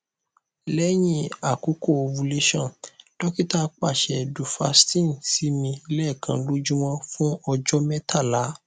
lẹhin akoko ovulation dokita paṣẹ duphaston si mi lẹẹkan lojumọ fun ọjọ mẹtala